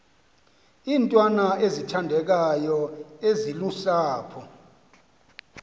iintwana ezithandekayo ezilusapho